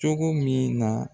Cogo min na